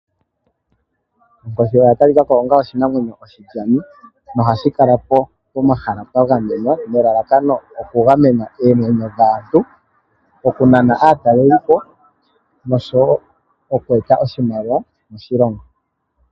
Onkoshi oya talikako onga oshinamwenyo oshilyani nohashi kala pomahala pwa gamenwa nelalakano oku gamena oomwenyo dhaantu, oku nana aatalelipo oshowo oku eta oshimaliwa moshilongo.